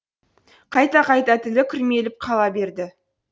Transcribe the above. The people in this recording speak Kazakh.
қайта қайта тілі күрмеліп қала берді